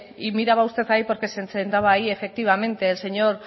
y miraba usted ahí porque se sentaba ahí efectivamente el señor